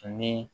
Ani